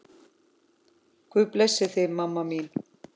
Guð blessi þig, mamma mín.